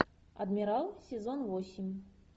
адмирал сезон восемь